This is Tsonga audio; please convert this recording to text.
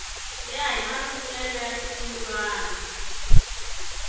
ya hi marungulelo ya xirungulwana